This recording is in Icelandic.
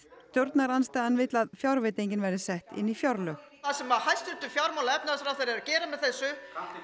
stjórnarandstaðan vill að fjárveitingin verði sett inn í fjárlög það sem hæstvirtur fjármálaráðherra er að gera með þessu